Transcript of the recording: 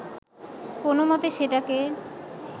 কোনমতে সেটাকে